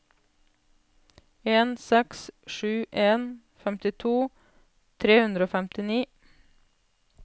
en seks sju en femtito tre hundre og femtini